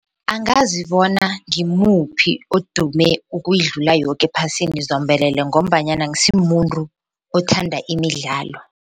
Angazi bona ngimuphi odume ukuyidlula yoke ephasini zombelele ngombanyana angisimuntu othanda imidlalo.